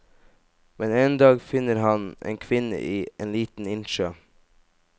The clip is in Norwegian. Men en dag finner han en kvinne i en liten innsjø.